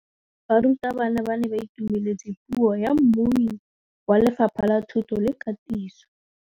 Barutabana ba ne ba itumeletse puô ya mmui wa Lefapha la Thuto le Katiso.